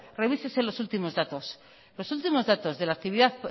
revísese los últimos datos los últimos datos de la actividad